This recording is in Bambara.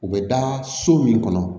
U bɛ da so min kɔnɔ